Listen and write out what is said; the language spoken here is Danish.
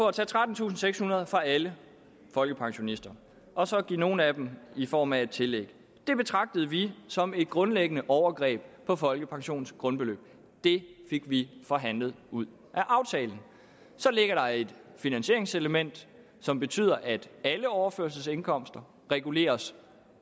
at tage trettentusinde og fra alle folkepensionister og så give nogle af dem i form af et tillæg det betragtede vi som et grundlæggende overgreb på folkepensionens grundbeløb det fik vi forhandlet ud af aftalen så ligger der et finansieringselement som betyder at alle overførselsindkomster reguleres